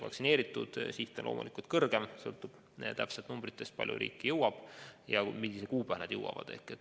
Siht on loomulikult kõrgem, kõik sõltub sellest, kui palju doose riiki jõuab ja mis kuupäeval need jõuavad.